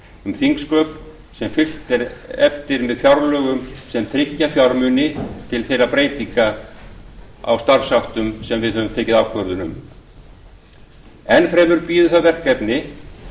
um þingsköp sem er fylgt eftir með fjárlögum sem tryggja fjármagn til breyttra starfshátta enn fremur bíður það verkefni